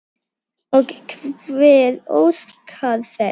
Og hver óskar þess?